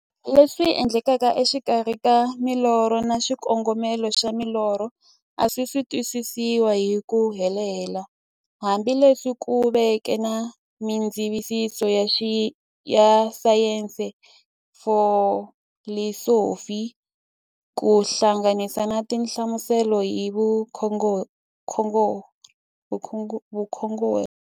Leswi endlekaka e xikarhi ka milorho na xikongomelo xa milorho a swisi twisisiwa hi ku helela, hambi leswi ku veke na mindzavisiso ya sayensi, filosofi ku hlanganisa na tinhlamuselo hi vukhongori.